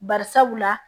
Bari sabula